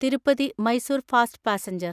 Tirupati Mysore fast passenger